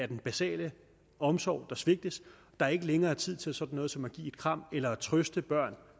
den basale omsorg der svigtes der er ikke længere tid til sådan noget som at give et kram eller at trøste børn